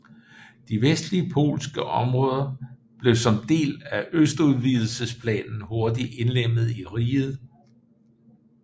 De vestlige polske områder blev som en del af østudvidelsesplanen hurtigt indlemmet i riget